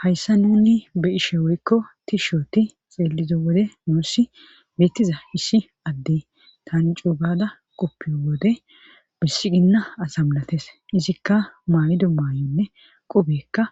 Hayssa nuni be ishe woykko tishooti xeelizo wode noossi beettiza hisi adde tan cuugada qoppiyo wode bissiginna asamlates izikka maaydo maayonne qubekka